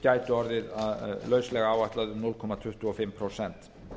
gætu orðið lauslega áætluð um núll komma tuttugu og fimm prósent